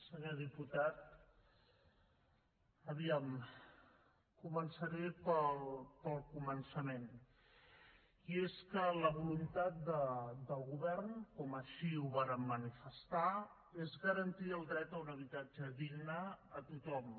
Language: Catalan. senyor diputat a veure començaré pel començament i és que la voluntat del govern com així ho vàrem manifestar és garantir el dret a un habitatge digne a tothom